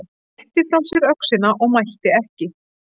Hann rétti frá sér öxina og mælti ekki.